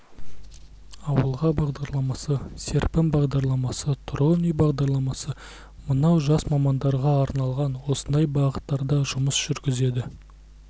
ауылға бағдарламасы серпін бағдарламасы тұрғын үй бағдарламасы мынау жас мамандарға арналған осындай бағыттарда жұмыс жүргізеді